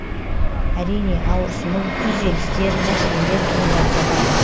әрине ауырсыну күйзелістер мәселелер туындап жатады